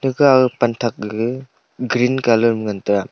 aga pan thak gaga green colour ma ngan tega.